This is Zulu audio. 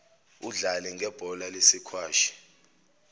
udlale ngebhola lesikwashi